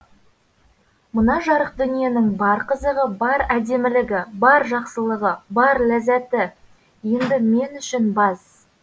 мына жарық дүниенің бар қызығы бар әдемілігі бар жақсылығы бар ләззәті енді мен үшін баз